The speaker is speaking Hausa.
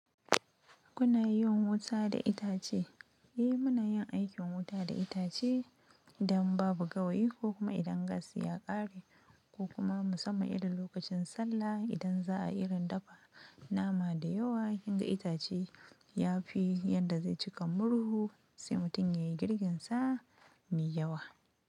Kuna yin wuta da itace? Eh muna yin aikin wuta da itace idan babu gawayi ko kuma idan gas ya ƙare ko kuma musamman idan lokacin sallah idan za a irin dafa nama da yawa, in da itace ya fi yadda zai cika murhu. Sai mutum yai murhunsa mai yawa.